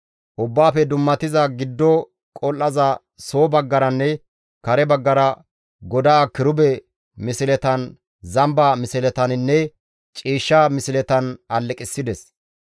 Ubbaafe Dummatiza Giddo Qol7aza soo baggaranne kare baggara godaa kirube misletan, zamba misletaninne ciishsha misletan alleqissides.